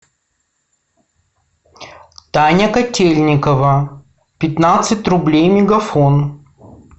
таня котельникова пятнадцать рублей мегафон